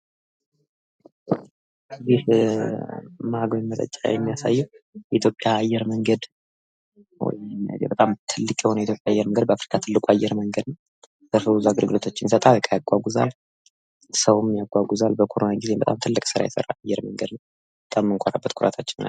ይህ መጠጫ የሚያሳየው የኢትዮጵያን አየር መንገድ ሲሆን፤ የኢትዮጵያ አየር መንገድ በአፍሪካ ትልቁ አየር መንገድ ሲሆን ትልቁ ኩራታችን ነው። የተለያዩ ነገሮችን ይጭናል ሰዎችን ፣ እቃዎችን በኮሮና ጊዜ ሲያጓጉዝ ነበር።